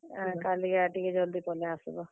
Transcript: କାଲି କା ଟିକେ ଜଲ୍ ଦି ପଲେଇ ଆସ୍ ବ।